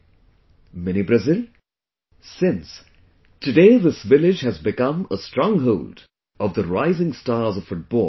'Mini Brazil', since, today this village has become a stronghold of the rising stars of football